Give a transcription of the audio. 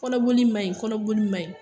Kɔnɔboli ma ɲi, kɔnɔboli ma ɲi